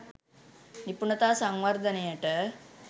නිපුණතා සංවර්ධනයට.